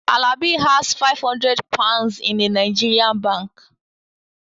Alabi has five hundred Pounds in a Nigerian bank